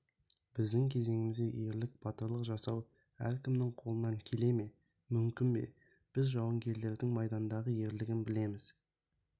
біздің кезеңімізде ерлік батырлық жасау әркімнің қолынан келе ме мүмкін бе біз жауынгерлердің майдандағы ерлігін білеміз